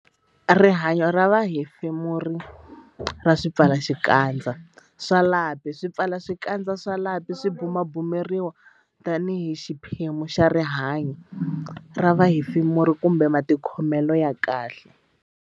Rihanyo ra vuhefemuri ra swipfalaxikandza swa lapi Swipfalaxikandza swa lapi swi bumabumeriwa tanihi xiphemu xa rihanyo ra vuhefemuri kumbe matikhomelo ya kahle.